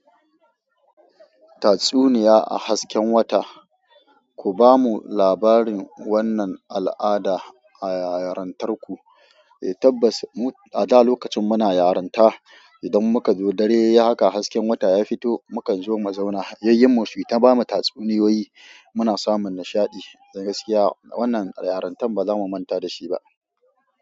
Tatsuniya a hasken wata. Ku bamu labarin wannan al'ada a yarintarku. Tabbas, a da lokacin muna yarinta idan muka zo dare yayi haka hasken wata ya fito, mukan zo mu zauna. Yayyin mu suyi ta bamu tatsuniyoyi muna samun nishadi. Gaskiya wannan yarintar ba za mu manta da shi ba.